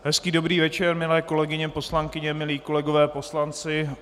Hezký dobrý večer, milé kolegyně poslankyně, milí kolegové poslanci.